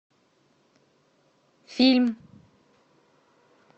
фильм